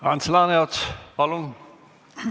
Ants Laaneots, palun!